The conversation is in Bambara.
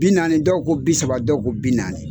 Bi naani dɔw ko bi saba dɔw ko bi naani